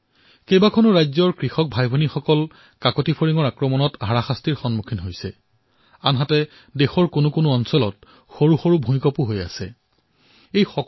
দেশৰ কিছু কিছু ৰাজ্যত আমাৰ কৃষক ভাইভনীসকলে ফৰিঙৰ আক্ৰমণৰ সমস্যাৰ সন্মুখীন হোৱাৰ সময়তে আন কিছু প্ৰান্ত সৰু সৰু ভূমিকম্পইও সমস্যাৰ সৃষ্টি কৰিছে